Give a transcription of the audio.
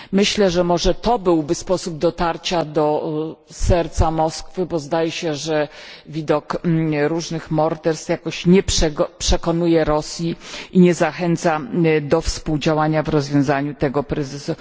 Myślę, że może to byłby sposób dotarcia do serca Moskwy, bo zdaje się, że widok różnych morderstw jakoś nie przekonuje Rosji i nie zachęca do współdziałania w rozwiązaniu tego kryzysu.